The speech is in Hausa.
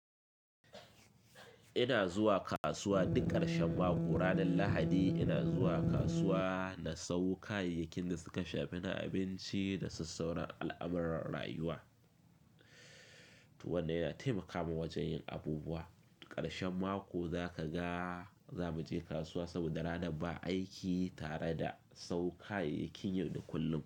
Ina zuwa kasuwa duk ƙarshen mako. Ranar Lahadi ina zuwa kasuwa na sayo kayayyakin da suka shafi na abinci da sassaurar al'amuran rayuwa, wanda yana taimaka min wajen yin abubuwa. Ƙarshen mako zaka ga za mu je kasuwa saboda ranar ba aiki tare da sau kayayyakin yadu kullum.